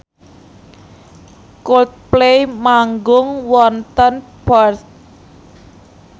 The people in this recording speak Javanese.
Coldplay manggung wonten Perth